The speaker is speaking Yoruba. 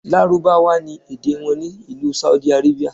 Lárúbáwá ni èdè wọn ní ìlú Saudi Arabia.